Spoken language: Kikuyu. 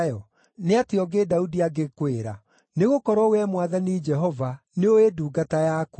“Nĩ atĩa ũngĩ Daudi angĩkwĩra? Nĩgũkorwo Wee Mwathani Jehova, nĩũĩ ndungata yaku.